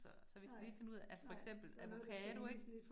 Så så vi skal lige finde ud af altså for eksempel avocado ik